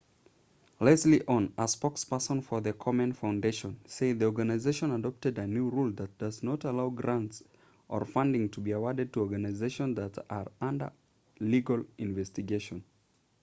leslie aun a spokesperson for the komen foundation said the organization adopted a new rule that does not allow grants or funding to be awarded to organizations that are under legal investigation